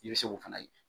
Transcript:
I bɛ se k'o fana ye